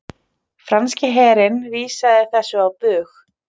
Franski herinn vísaði þessu á bug